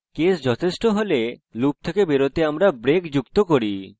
case যথেষ্ট হলে loop থেকে বেরোতে আমরা break যুক্ত করি